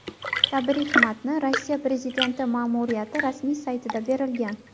Tabrik matni Rossiya prezidenti ma’muriyati rasmiy saytida berilgan .